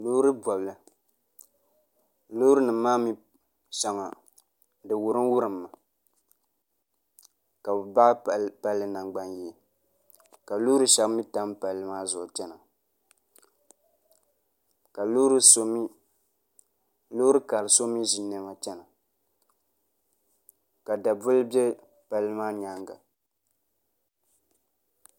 Loori bobli Loori nim maa mii shɛŋa di wurim wurimmi ka bi baɣi palli nangbani yee ka loori shab mii tam palli maa zuɣu chɛna ka loori kari so mii ʒi niɛma chɛna ka daboli bɛ palli maa nyaanga